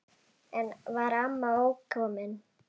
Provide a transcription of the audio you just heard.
Enn var amma ókomin.